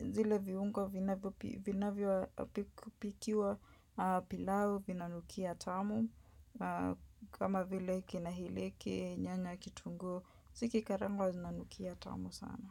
Zile viungo vinavyovipikiwa pilau vinanukia tamu. Kama vile kina hileke nyanya kitunguu. Zikikarangwa zina lnukia tamu sana.